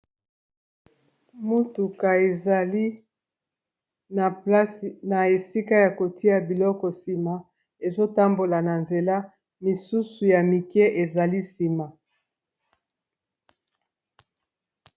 Motuka ezali na place na esika ya kotia biloko nsima ezotambola na nzela misusu ya mike ezali nsima.